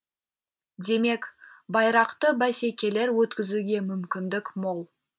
демек байрақты бәсекелер өткізуге мүмкіндік мол